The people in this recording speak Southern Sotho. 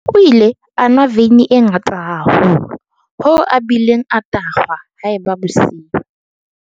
o ile a nwa veine e ngata haholo hoo a bileng a tahwa haeba bosiu